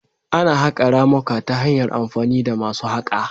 Ana haƙa ramuka ta hanyar amfani da masu haƙa